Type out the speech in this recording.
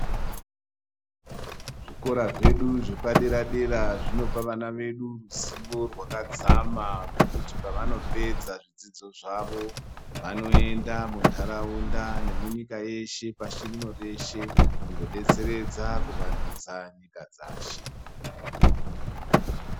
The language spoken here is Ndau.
Zvikora zvedu zvepadera dera, zvinopa vana vedu zivo rwakadzama zvekuti pavanopedza zvidzidzo zvavo, vanoenda mundaraunda nemunyika yeshe pashi rino reshe, kundodetseredza, kuvandutsa nyika dzashe.